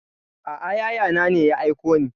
A'a yaya na ne ya aiko ni.